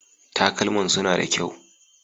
Talkaman suna da kyau.